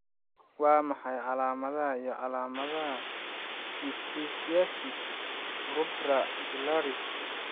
Waa maxay calaamadaha iyo calaamadaha Pityriasis rubra pilaris?